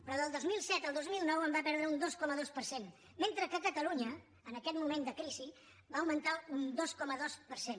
però del dos mil set al dos mil nou en va perdre un dos coma dos per cent mentre que a catalunya en aquest moment de crisi van augmentar un dos coma dos per cent